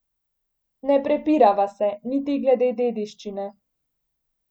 Ne prepirava se, niti glede dediščine.